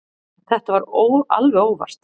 Þetta var alveg óvart.